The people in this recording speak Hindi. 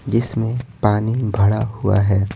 जिसमें पानी भड़ा हुआ है।